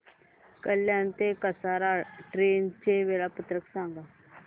कल्याण ते कसारा ट्रेन चे वेळापत्रक सांगा